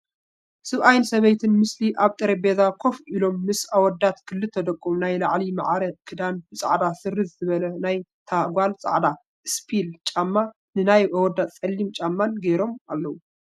ሰብኣይ ሰበይትን ምስሊ ኣብ ጠረቤዛ ኮፍ ኢሎም ምስ ኣወዳት ክልተ ደቆም ናይ ላዕሊ ማዕረ ክዳን ብፃዕዳ ስርዝ ዝበለ ናይ ታ ጋል ፃዕዳ እስፒል ጫም ንይ ኣወዳት ፀሊም ጫማን ጌሮም ኣለዉ።